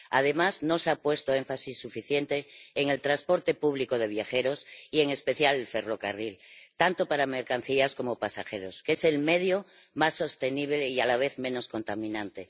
Además, no se ha puesto énfasis suficiente en el transporte público de viajeros, y en especial el ferrocarril, tanto para mercancías como para pasajeros, que es el medio más sostenible y a la vez menos contaminante.